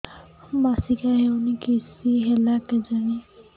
ମାସିକା ହଉନି କିଶ ହେଲା କେଜାଣି